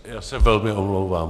Já se velmi omlouvám.